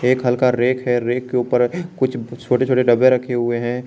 एक हल्का रैक है रैक के ऊपर कुछ छोटे छोटे डब्बे रखे हुए हैं।